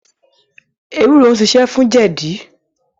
Ewúro ń ṣiṣẹ́ fún jẹ̀dí.